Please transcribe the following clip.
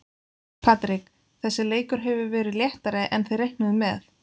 Patrik, þessi leikur hefur verið léttari en þið reiknuðuð með?